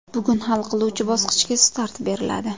Bugun hal qiluvchi bosqichga start beriladi.